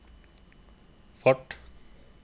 fart